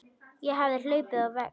Ég hafði hlaupið á vegg.